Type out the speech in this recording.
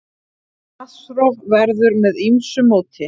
Vatnsrof verður með ýmsu móti.